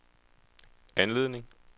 anledning